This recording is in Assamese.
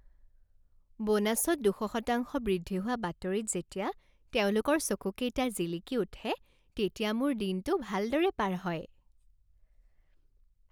বোনাছত দুশ শতাংশ বৃদ্ধি হোৱা বাতৰিত যেতিয়া তেওঁলোকৰ চকুকেইটা জিলিকি উঠে তেতিয়া মোৰ দিনটো ভালদৰে পাৰ হয়।